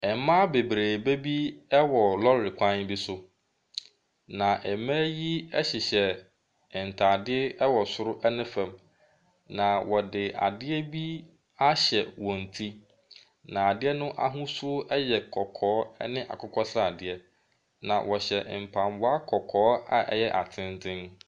Mmaa beberebe bi wɔ lɔɔre kwan bi so, na mmaa yi hyehyɛ ntaade wɔ soro ne fam. Na wɔde adeɛ bi ahyɛ wɔn ti, na adeɛ no ahosuo yɛ kɔkɔɔ ne akokɔsradeɛ na wɔhyɛ mpaboa kɔkɔɔ a ɛyɛ atenten.